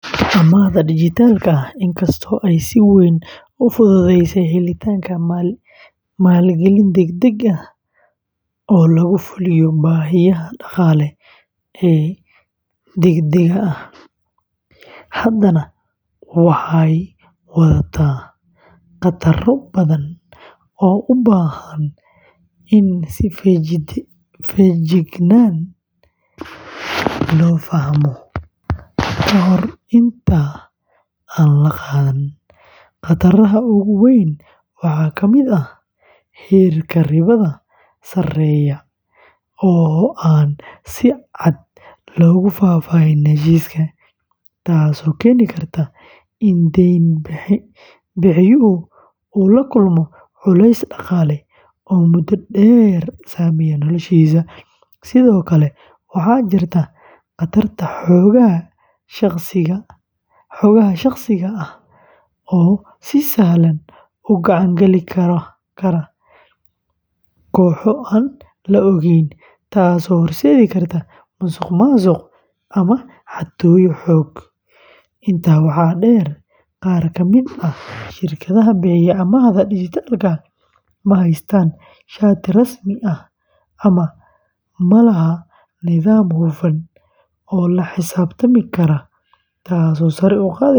Amaahda dijitaalka ah, inkastoo ay si weyn u fududeysay helitaanka maalgelin degdeg ah oo lagu fuliyo baahiyaha dhaqaale ee degdegga ah, haddana waxay wadataa khataro badan oo u baahan in si feejigan loo fahmo ka hor inta aan la qaadan. Khataraha ugu weyn waxaa kamid ah heerka ribada sareeya oo aan si cad loogu faahfaahin heshiiska, taasoo keeni karta in deyn-bixiyuhu uu la kulmo culays dhaqaale oo muddo dheer saameeya noloshiisa. Sidoo kale, waxaa jirta khatarta xogaha shakhsiga ah oo si sahlan u gacan gali kara kooxo aan la oggolayn, taasoo horseedi karta musuqmaasuq ama xatooyo xog. Intaa waxaa dheer, qaar kamid ah shirkadaha bixiya amaahda dijitaalka ah ma haystaan shati rasmi ah ama ma laha nidaam hufan oo la xisaabtami kara, taasoo sare u qaadaysa.